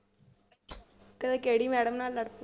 ਕਦੇ ਕਿਹੜੀ madam ਨਾਲ ਲੜ ਪਈ